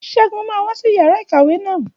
Ṣẹ́gun máa wá sí yàrá ìkàwé naa